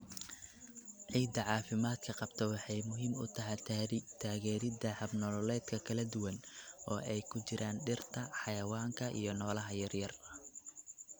Ciidda caafimaadka qabta waxay muhiim u tahay taageeridda hab-nololeedyada kala duwan, oo ay ku jiraan dhirta, xayawaanka, iyo noolaha yaryar.